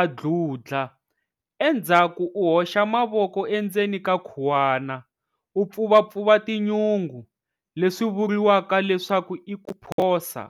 a dludla, endzhaku u hoxa mavoko endzeni ka khuwana, u pfuvapfuva tinyungu, leswi vuriwaka leswaku i ku phosa.